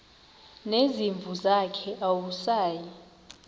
nezimvu zakhe awusayi